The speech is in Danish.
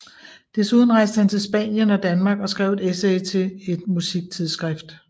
Desuden rejste han til Spanien og Danmark og skrev et essay til et musiktidsskrift